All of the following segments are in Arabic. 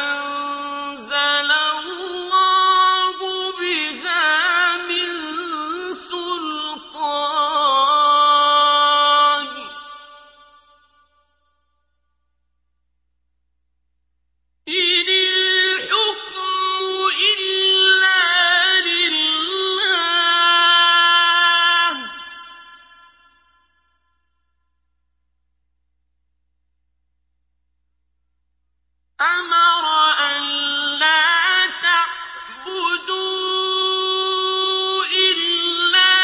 أَنزَلَ اللَّهُ بِهَا مِن سُلْطَانٍ ۚ إِنِ الْحُكْمُ إِلَّا لِلَّهِ ۚ أَمَرَ أَلَّا تَعْبُدُوا إِلَّا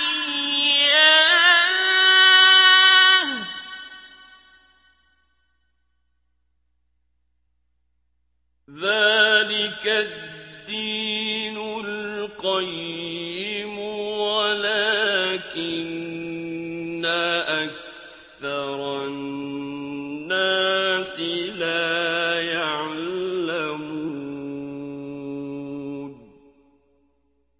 إِيَّاهُ ۚ ذَٰلِكَ الدِّينُ الْقَيِّمُ وَلَٰكِنَّ أَكْثَرَ النَّاسِ لَا يَعْلَمُونَ